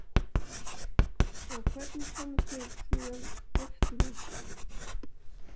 Og hvernig komumst við síðan aftur út?